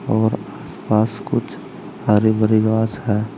और आसपास कुछ हरी भरी घास है।